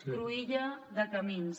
una cruïlla de camins